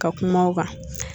Ka kuma o kan.